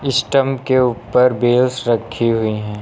Stump के ऊपर भी बेल्स रखी हुई हैं।